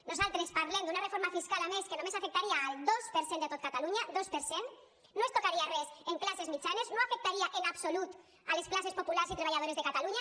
nosaltres parlem d’una reforma fiscal a més que només afectaria el dos per cent de tot catalunya dos per cent no es tocaria res en classes mitjanes no afectaria en absolut les classes populars i treballadores de catalunya